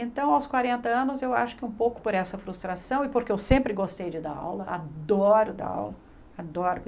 Então, aos quarenta anos, eu acho que um pouco por essa frustração e porque eu sempre gostei de dar aula, adoro dar aula, adoro.